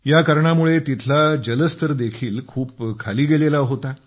या कारणामुळे तिथला जलस्तर देखील खूप खाली गेलेला होता